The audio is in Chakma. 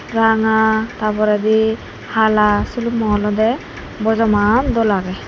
ranga tarporedi hala silummo olode bojoman dol agey.